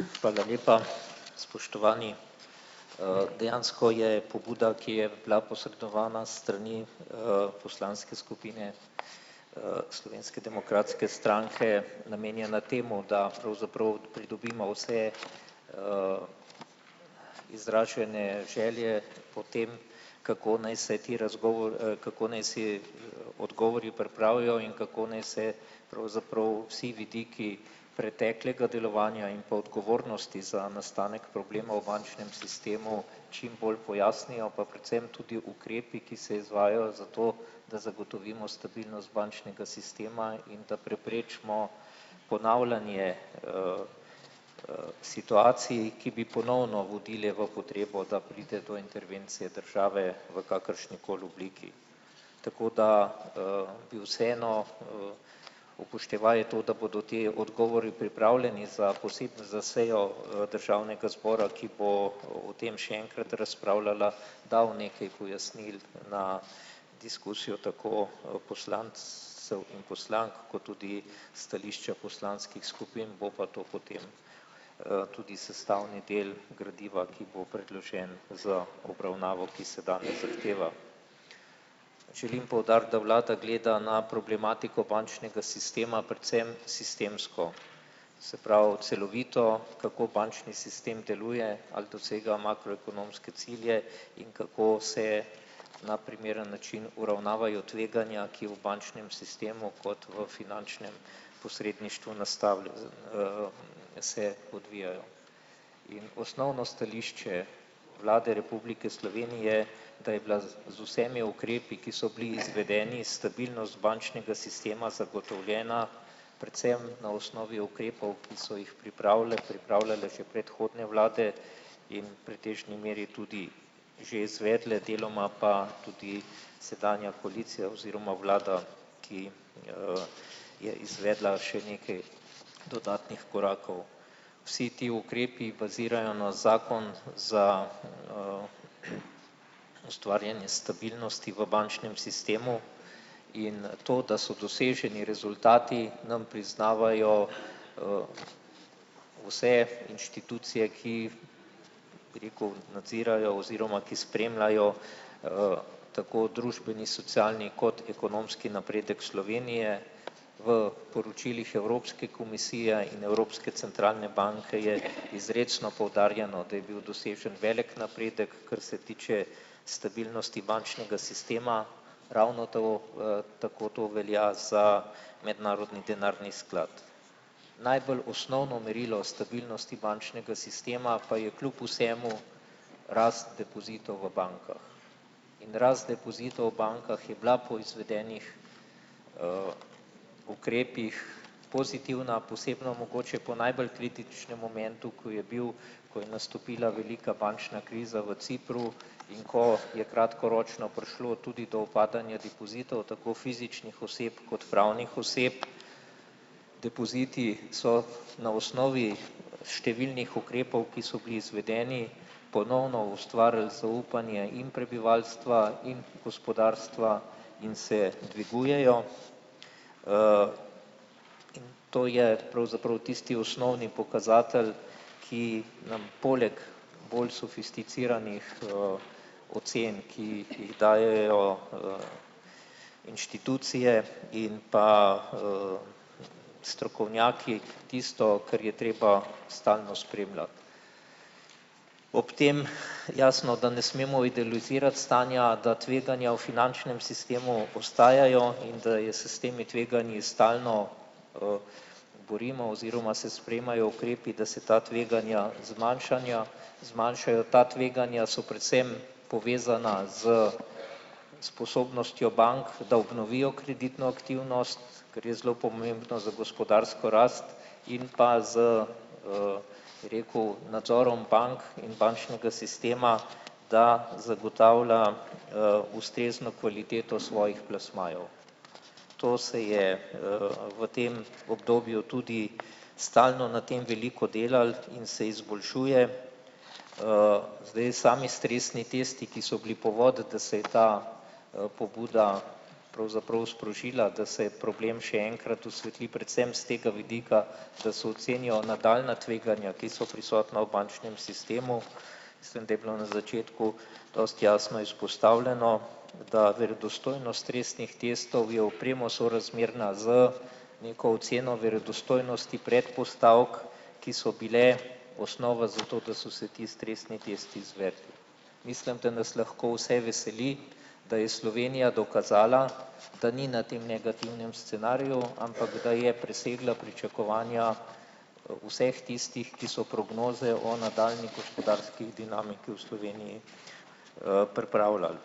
Hvala lepa. Spoštovani! Dejansko je pobuda, ki je bila posredovana s strani, poslanske skupine, Slovenske demokratske stranke namenjena temu, da pravzaprav pridobimo vse, izražene želje potem, kako naj se ti kako naj si odgovori pripravijo in kako naj se pravzaprav vsi vidiki preteklega delovanja in pa odgovornosti za nastanek problema v bančnem sistemu čim bolj pojasnijo pa predvsem tudi ukrepi, ki se izvajajo za to, da zagotovimo stabilnost bančnega sistema in da preprečimo ponavljanje, situacij, ki bi ponovno vodile v potrebo, da pride do intervencije države v kakršnikoli obliki. Tako da, bi vseeno, upoštevaje to, da bodo ti odgovori pripravljeni za za sejo, državnega zbora, ki bo o tem še enkrat razpravljal, dal nekaj pojasnil na diskusijo tako o poslancev in poslank kot tudi stališča poslanskih skupin, bo pa to potem, tudi sestavni del gradiva, ki bo predložen za obravnavo, ki se danes zahteva. Želim poudariti, da vlada gleda na problematiko bančnega sistema predvsem sistemsko. Se pravi, celovito, kako bančni sistem deluje, ali dosega makroekonomske cilje in kako se na primeren način uravnavajo tveganja, ki v bančnem sistemu kot v finančnem posredništvu se odvijajo. Osnovno stališče Vlade Republike Slovenije, da je bila z vsemi ukrepi, ki so bili izvedeni, stabilnost bančnega sistema zagotovljena predvsem na osnovi ukrepov, ki so jih pripravile, pripravljale že predhodne vlade in pretežni meri tudi že izvedle deloma pa tudi sedanja koalicija oziroma vlada, ki, je izvedla še nekaj dodatnih korakov. Vsi ti ukrepi bazirajo na zakon za, ustvarjanje stabilnosti v bančnem sistemu in to, da so doseženi rezultati, nam priznavajo, vse inštitucije, ki, bi rekel, nadzirajo oziroma, ki spremljajo, tako družbeni socialni kot ekonomski napredek Slovenije, v poročilih Evropske komisije in Evropske centralne banke je izrecno poudarjeno, da je bil dosežen velik napredek, kar se tiče stabilnosti bančnega sistema, ravno to, tako to velja za Mednarodni denarni sklad. Najbolj osnovno merilo o stabilnosti bančnega sistema pa je kljub vsemu rast depozitov v bankah. In rast depozitov v bankah je bila po izvedenih, ukrepih pozitivna posebno mogoče po najbolj kritičnem momentu, ko je bil, ko je nastopila velika bančna kriza v Cipru in ko je kratkoročno prišlo tudi do upadanja depozitov tako fizičnih oseb kot pravnih oseb. Depoziti so na osnovi številnih ukrepov, ki so bili izvedeni, ponovno ustvarili zaupanje in prebivalstva in gospodarstva in se dvigujejo. To je pravzaprav tisti osnovni pokazatelj, ki nam poleg bolj sofisticiranih, ocen, ki jih dajejo, inštitucije in pa, strokovnjaki, tisto, kar je treba stalno spremljati. Ob tem jasno, da ne smemo idealizirati stanja, da tveganja v finančnem sistemu ostajajo in da je s temi tveganji stalno, borimo oziroma se sprejemajo ukrepi, da se ta tveganja zmanjšanja, zmanjšajo, ta tveganja so predvsem povezana s sposobnostjo bank, da obnovijo kreditno aktivnost, kar je zelo pomembno za gospodarsko rast, in pa z, bi rekel, nadzorom bank in bančnega sistema, da zagotavlja, ustrezno kvaliteto svojih plasmajev. To se je, v tem obdobju tudi stalno na tem veliko delalo in se izboljšuje. Zdaj sami stresni tisti, ki so bili povod, da se je ta, pobuda pravzaprav sprožila, da se je problem še enkrat osvetli predvsem s tega vidika, da se ocenijo nadaljnja tveganja, ki so prisotna v bančnem sistemu. Mislim, da je bilo na začetku dosti jasno izpostavljeno, da verodostojnost stresnih testov je v premo sorazmerna z neko oceno verodostojnosti predpostavk, ki so bile osnova za to, da so se ti stresni testi izvedli. Mislim, da nas lahko vse veseli, da je Slovenija dokazala, da ni na tem negativnem scenariju, ampak da je presegla pričakovanja vseh tistih, ki so prognoze o nadaljnjih gospodarskih dinamiki v Sloveniji, pripravljali.